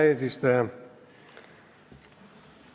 Hea eesistuja!